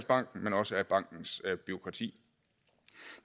banken men også af bankens bureaukrati